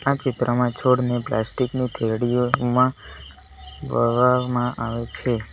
ચિત્રમાં છોડને પ્લાસ્ટિક ની થેલીયો તેમાં વાવવામાં આવે છે.